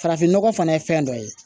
Farafinnɔgɔ fana ye fɛn dɔ ye